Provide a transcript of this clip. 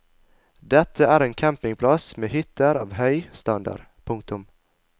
Dette er en campingplass med hytter av høy standard. punktum